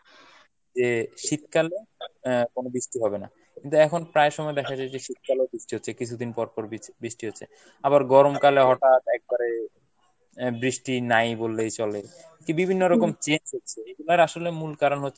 যে শীতকালে আহ কোনো বৃষ্টি হবে না। কিন্তু এখন প্রায় সময় দেখা যায় যে শীতকালে ও বৃষ্টি হচ্ছে কিছুদিন পরপর বি~ বৃষ্টি হচ্ছে। আবার গরমকালে হটাৎ একবারে বৃষ্টি নাই বললেই চলে, বিভিন্ন রকম change হচ্ছে এইগুলার আসলে মূল কারন হচ্ছে